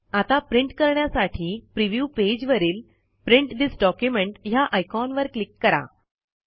आता प्रिंट करण्यासाठी प्रिव्ह्यू पेजवरील प्रिंट थिस डॉक्युमेंट ह्या आयकॉनवर क्लिक करा